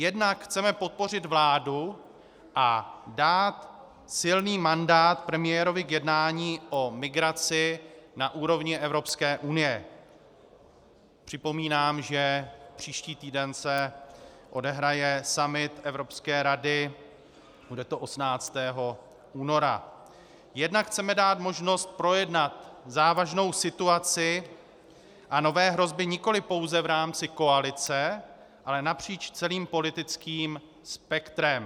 Jednak chceme podpořit vládu a dát silný mandát premiérovi k jednání o migraci na úrovni Evropské unie - připomínám, že příští týden se odehraje summit Evropské rady, bude to 18. února -, jednak chceme dát možnost projednat závažnou situaci a nové hrozby nikoliv pouze v rámci koalice, ale napříč celým politickým spektrem.